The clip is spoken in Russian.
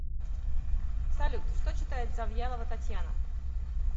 салют что читает завьялова татьяна